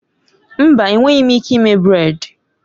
Mba! Enweghị m ike ime brèd